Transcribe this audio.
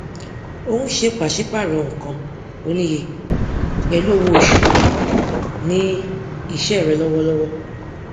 ò ń ṣe pàsípààrọ nǹkan oníye pẹlú owóoṣù ní iṣẹ rẹ lọwọlọwọ